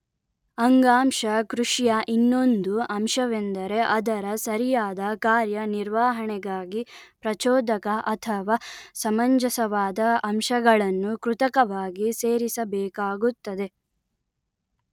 ಅಂಗಾಂಶ ಕೃಷಿಯ ಇನ್ನೊಂದು ಅಂಶವೆಂದರೆ ಅದರ ಸರಿಯಾದ ಕಾರ್ಯ ನಿರ್ವಹಣೆಗಾಗಿ ಪ್ರಚೋದಕ ಅಥವಾ ಸಮಂಜಸವಾದ ಅಂಶಗಳನ್ನು ಕೃತಕವಾಗಿ ಸೇರಿಸಬೇಕಾಗುತ್ತದೆ